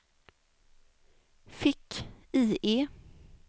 fick-IE